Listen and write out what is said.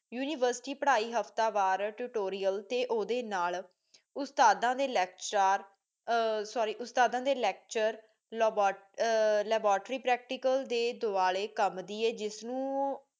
university ਪੜਾਈ ਹਫਤਾ ਵਾਰ tutorial ਤੇ ਓਹਦੀ ਨਾਲ ਉਸਤਾਦਾਂ ਦੇ ਲੈਕਚਰਾਰ sorry ਉਸਤਾਦਾ ਦੇ ਲੈਕਚਰ ਲੋਬਟਲੈਬੋਟਰੀ ਪਰੈਕਟੀਕਲ ਦੇ ਦੁਆਲੇ ਕਮ ਦੀ ਏ ਜਿਸ ਨੂੰ